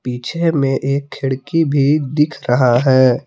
पीछे में एक खिड़की भी दिख रहा है।